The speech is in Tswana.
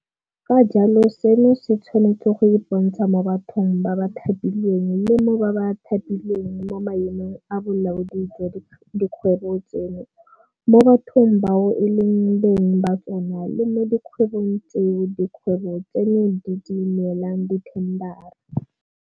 Ka jalo seno se tshwanetse go ipontsha mo bathong ba ba thapilweng le mo ba ba thapilweng mo maemong a bolaodi jwa dikgwebo tseno, mo bathong bao e leng beng ba tsona le mo dikgwebong tseo dikgwebo tseno di di neelang dithendara.